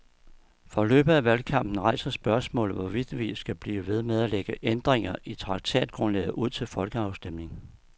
Forløbet af valgkampen rejser spørgsmålet, hvorvidt vi skal blive ved med at lægge ændringer i traktatgrundlaget ud til folkeafstemning.